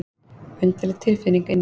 Undarleg tilfinning inni í honum.